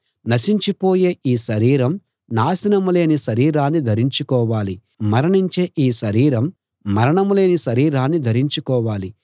నశించిపోయే ఈ శరీరం నాశనం లేని శరీరాన్ని ధరించుకోవాలి మరణించే ఈ శరీరం మరణం లేని శరీరాన్ని ధరించుకోవాలి